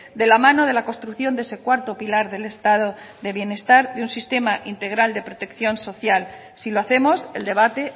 de la mano de la construcción de ese cuarto pilar del estado de bienestar y un sistema integral de protección social si lo hacemos el debate